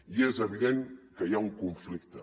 i és evident que hi ha un conflicte